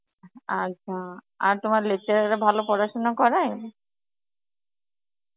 আচ্ছা, আর তোমার lecturer রা ভালো পড়াশোনা করায়?